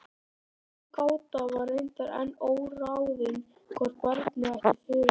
Sú gáta var reyndar enn óráðin hvort barnið ætti föður.